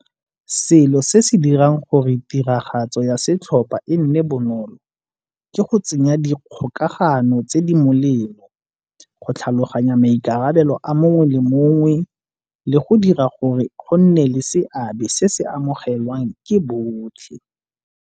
Selo se se dirang gore tiragatso ya setlhopha e nne bonolo ke go tsenya dikgokagano tse di molemo, go tlhaloganya maikarabelo a mongwe le mongwe le go dira gore go nne le seabe se se amogelwang ke botlhe.